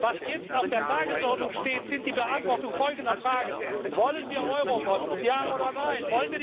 Was jetzt auf der Tagesordnung steht, ist die Beantwortung folgender Fragen Wollen wir Eurobonds ja oder nein?